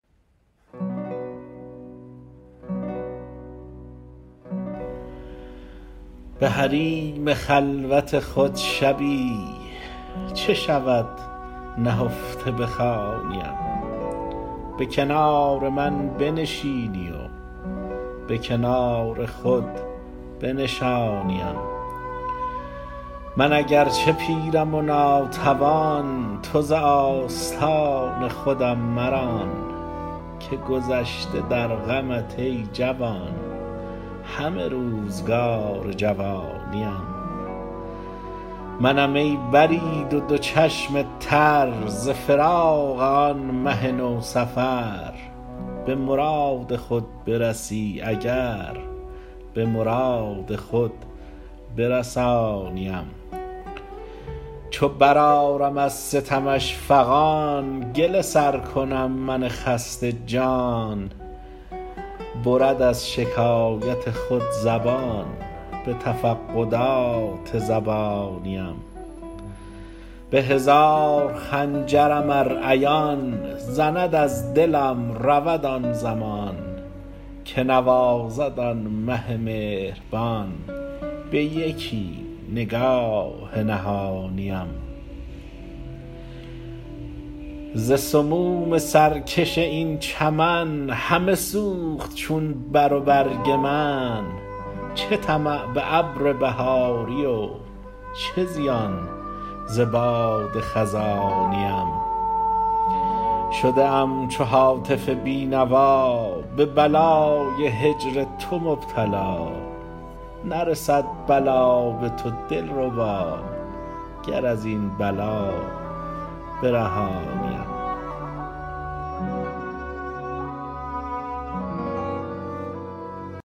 به حریم خلوت خود شبی چه شود نهفته بخوانیم به کنار من بنشینی و به کنار خود بنشانیم من اگر چه پیرم و ناتوان تو ز آستان خودم مران که گذشته در غمت ای جوان همه روزگار جوانیم منم ای برید و دو چشم تر ز فراق آن مه نوسفر به مراد خود برسی اگر به مراد خود برسانیم چو برآرم از ستمش فغان گله سر کنم من خسته جان برد از شکایت خود زبان به تفقدات زبانیم به هزار خنجرم ار عیان زند از دلم رود آن زمان که نوازد آن مه مهربان به یکی نگاه نهانیم ز سموم سرکش این چمن همه سوخت چون بر و برگ من چه طمع به ابر بهاری و چه زیان ز باد خزانیم شده ام چو هاتف بینوا به بلای هجر تو مبتلا نرسد بلا به تو دلربا گر از این بلا برهانیم